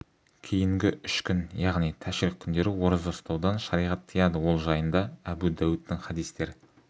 кейінгі үш күн яғни тәшриқ күндері ораза ұстаудан шариғат тыйяды ол жайында әбу дәуідтің хадистер